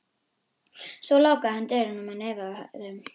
Svo lokaði hann dyrunum á nefið á þeim.